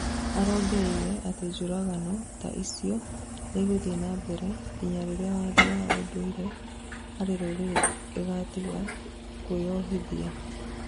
arongereire atĩ njũragano ta icio nĩigũthiĩ na mbere, nginya rĩria watho na ũndũire harĩ rũrĩrĩ igatiga kũgũoyohithia